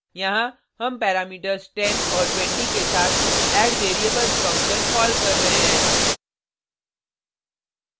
यहाँ हम पैरामीटर्स 10 और 20 के साथ addvariables फंक्शन कॉल कर रहे हैं